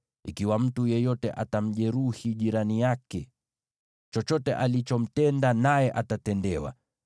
Ikiwa mtu yeyote atamjeruhi jirani yake, chochote alichomtenda naye atatendewa: